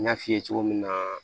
N y'a f'i ye cogo min na